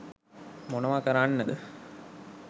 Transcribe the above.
මොනවා කරන්නද?.